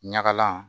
Ɲagalan